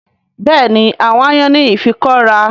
Bẹ́ẹ̀ni àwọn aáyán ní ifikọ́ra